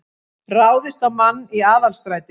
Ráðist á mann í Aðalstræti